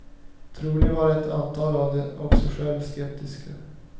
Troligen var ett antal av dem också själva skeptiska.